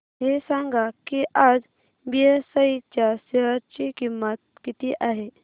हे सांगा की आज बीएसई च्या शेअर ची किंमत किती आहे